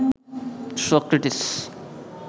Socrates